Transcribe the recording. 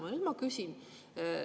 Ja nüüd ma küsin.